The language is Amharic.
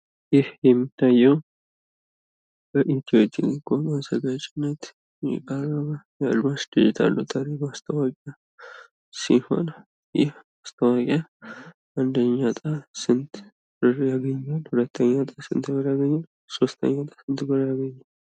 ይሄ የሚታየው በኢትዮጵያ ቴሌኮም አዘጋጅነት የአድማስ ዲጂታ ሎተሪ ማስታወቂያ ሲሆን አንደኛ ዕጣ ስንት ብር ያገኛል? ሁለተኛ ዕጣ ስንት ብር ያገኛል? ሶስተኛዕጣ ስንት ብር ያገኛል?